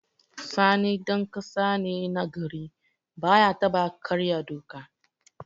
Sani ɗan ƙasa ne na gari, baya taɓa karya doka.